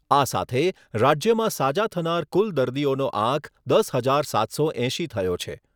આ સાથે રાજ્યમાં સાજા થનાર કુલ દર્દીઓનો આંક દસ હજાર સાતસો એંશી થયો છે.